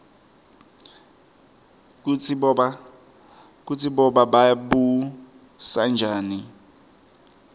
kutsi boba babusanjani